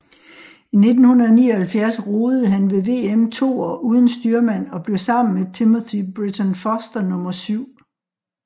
I 1979 roede han ved VM toer uden styrmand og blev sammen med Timothy Britton Foster nummer syv